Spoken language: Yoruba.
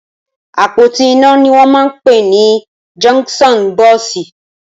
Apótí iná ni wọn mà n pé ni jọnkṣọn bọsí